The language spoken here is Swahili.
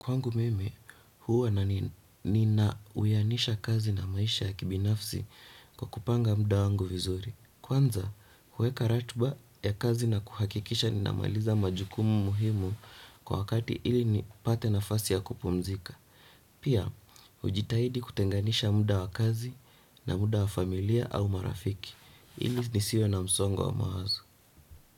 Kwangu mimi, huwa na nina uyanisha kazi na maisha ya kibinafsi kwa kupanga muda wangu vizuri. Kwanza, huweka ratiba ya kazi na kuhakikisha ninamaliza majukumu muhimu kwa wakati ili nipate nafasi ya kupumzika. Pia, hujitahidi kutenganisha muda wa kazi na muda wa familia au marafiki. Ili nisiwe na msongo wa mawazo.